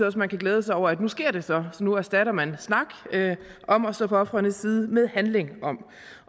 at man kan glæde sig over at nu sker det så så nu erstatter man snak om at stå på ofrenes side med handlingen